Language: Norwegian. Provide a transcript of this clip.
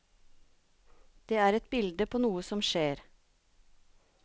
Det er et bilde på noe som skjer.